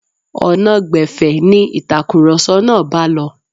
Ọ̀nà gbẹ̀fẹ̀ ni ìtakùrọ̀sọ náà bá lọ.